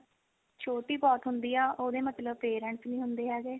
ਛੋਟੀ ਬਹੁਤ ਹੁੰਦੀ ਆ ਉਹਦੇ ਮਤਲਬ parents ਨਹੀਂ ਹੁੰਦੇ ਹੈਗੇ